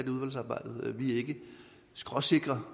i udvalgsarbejdet vi er ikke skråsikre